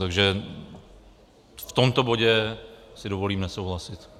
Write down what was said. Takže v tomto bodě si dovolím nesouhlasit.